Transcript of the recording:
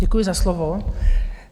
Děkuji za slovo.